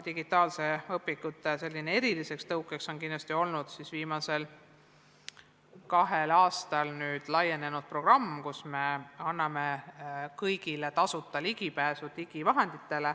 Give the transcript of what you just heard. Digitaalsete õpikute kasutamise eriliseks tõukeks on kindlasti olnud viimasel kahel aastal laienenud programm, kus me oleme andnud kõigile tasuta ligipääsu.